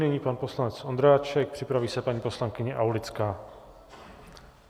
Nyní pan poslanec Ondráček, připraví se paní poslankyně Aulická.